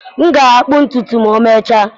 M ga-akpụ ntutu ma emechaa